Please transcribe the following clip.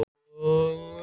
Það er ekki gott